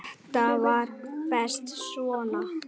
Þetta var best svona.